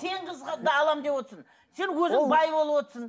тең қыз аламын деп отырсың сен өзің бай болып отырсың